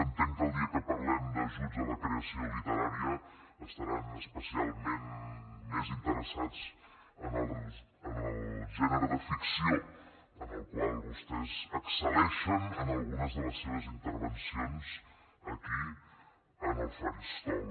entenc que el dia que parlem d’ajuts a la creació literària estaran especialment més interessats en el gènere de ficció en el qual vostès excel·leixen en algunes de les seves intervencions aquí en el faristol